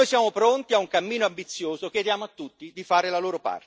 Noi siamo pronti a un cammino ambizioso e chiediamo a tutti di fare la loro parte.